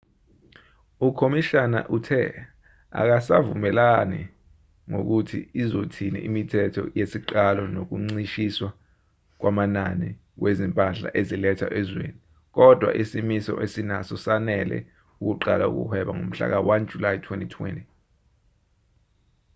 ukhomishana uthe asikavumelani ngokuthi izothini imithetho yesiqalo nokuncishiswa kwamanani wezimpahla ezilethwa ezweni kodwa isimiso esinaso sanele ukuqala ukuhweba ngomhlaka-1 july 2020